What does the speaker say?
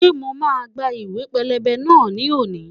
Ṣé mo máa gba ìwẹ̀ pẹlẹbẹ náà ni òní?